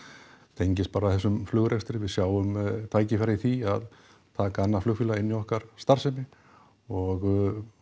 tengist bara þessum flugrekstri við sjáum tækifæri í því að taka annað flugfélag inn í okkar starfsemi og